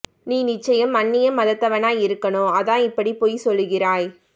நி நிச்சயம் அன்னிய மதத்தவனா இருக்கனும் அதான் இபாடி பொய் சொல்லுகிறாய்